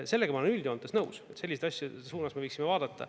Sellega ma olen üldjoontes nõus, et selliste asjade suunas me võiksime vaadata.